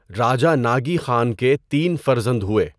راجہ ناگی خان کے تین فرزند ہوٸے۔